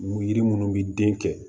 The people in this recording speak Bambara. Yiri minnu bɛ den kɛ